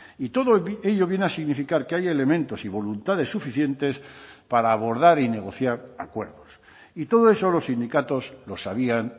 y todo ello viene a significar que hay elementos y voluntades suficientes para abordar y negociar acuerdos y todo eso los sindicatos lo sabían